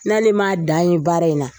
N'ale ma dan ye baara in na